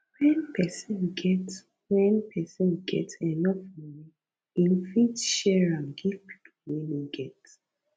when persin get when persin get enough money im fit share am give pipo wey no get